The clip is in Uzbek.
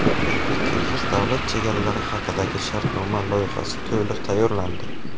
O‘zbek-qirg‘iz Davlat chegaralari haqidagi shartnoma loyihasi to‘liq tayyorlandi.